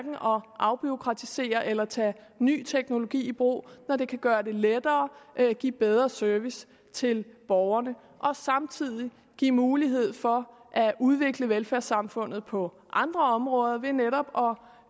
afbureaukratisere eller tage ny teknologi i brug når det kan gøre det lettere give bedre service til borgerne og samtidig give mulighed for at udvikle velfærdssamfundet på andre områder ved netop